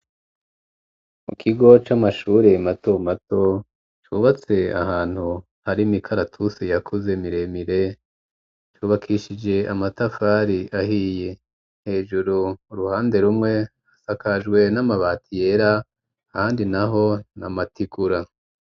Mu kigo c'amashure mato mato ,cubatse ahantu hari mikaratuse yakuze miremire ,cubakishije amatafari ahiye, hejuru uruhande rumwe hasakajwe n'amabati yera ,handi naho na mategura.